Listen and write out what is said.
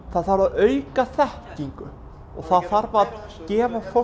það þarf að auka þekkingu og það þarf að gefa